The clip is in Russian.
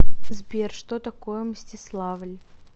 сбер что такое мстиславль